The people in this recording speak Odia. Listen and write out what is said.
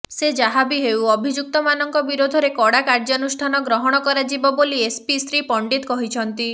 ସେ ଯାହାବି ହେଉ ଅଭିଯୁକ୍ତମାନଙ୍କ ବିରୋଧରେ କଡ଼ା କାର୍ଯ୍ୟାନୁଷ୍ଠାନ ଗ୍ରହଣ କରାଯିବ ବୋଲି ଏସପି ଶ୍ରୀ ପଣ୍ଡିତ କହିଛନ୍ତି